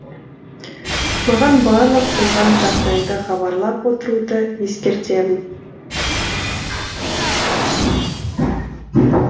маған барлық болған жағдайды хабарлап отыруды ескертемін